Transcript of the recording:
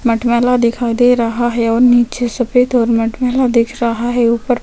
मटमैला दिखाई दे रहा है और नीचे सफ़ेद और मटमैला दिख रहा है ऊपर--